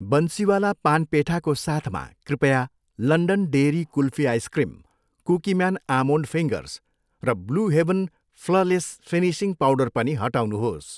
बन्सिवाला पान पेठाको साथमा, कृपया London Dairy kulfi ice cream, Cookieman almond fingers र Blue Heaven flawless finishing powder पनि हटाउनुहोस्।